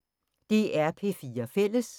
DR P4 Fælles